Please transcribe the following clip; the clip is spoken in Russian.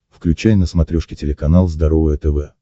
включай на смотрешке телеканал здоровое тв